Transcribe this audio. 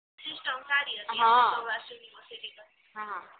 system સારી હતી આહ સૌરાસ્ટ્ર યુનિવર્સિટી કરતા